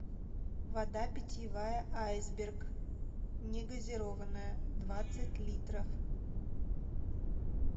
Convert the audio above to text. вода питьевая айсберг негазированная двадцать литров